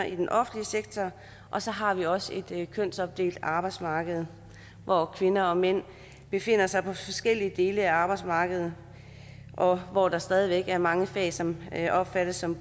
i den offentlige sektor og så har vi også et kønsopdelt arbejdsmarked hvor kvinder og mænd befinder sig på forskellige dele af arbejdsmarkedet og hvor der stadig væk er mange fag som opfattes som